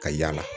Ka yala